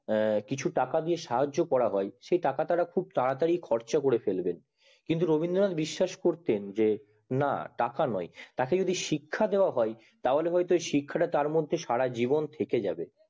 আঃ কিছু টাকা দিয়ে সাহায্য করা হয় সেই টাকা তারা তারা তারি খরচা করে ফেলবে কিন্তু রবীন্দ্রনাথ বিশ্বাস করতেন যে না টাকা নয় তাকে যদি শিক্ষা দেওয়া হয় তাহলে হয়তো শিক্ষা টা তার মধ্যে শিক্ষা টা তার মধ্যে সারা জীবন থেকে যাবে